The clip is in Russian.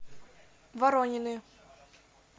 воронины